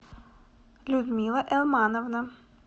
людмила элмановна